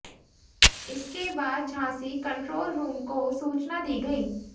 इसके बाद Jhansi control room को सूचना दी गई